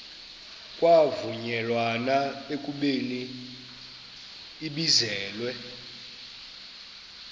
kwavunyelwana ekubeni ibizelwe